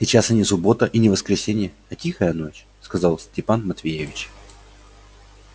сейчас и не суббота и не воскресенье а тихая ночь сказал степан матвеевич